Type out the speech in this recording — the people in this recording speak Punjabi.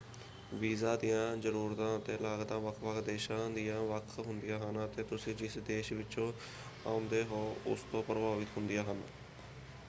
ਵੀਜ਼ਾ ਦੀਆਂ ਜ਼ਰੂਰਤਾਂ ਅਤੇ ਲਾਗਤਾਂ ਵੱਖ-ਵੱਖ ਦੇਸ਼ਾਂ ਦੀਆਂ ਵੱਖ ਹੁੰਦੀਆਂ ਹਨ ਅਤੇ ਤੁਸੀਂ ਜਿਸ ਦੇਸ਼ ਵਿਚੋਂ ਆਉਂਦੇ ਹੋ ਉਸਤੋਂ ਪ੍ਰਭਾਵਿਤ ਹੁੰਦੀਆ ਹਨ।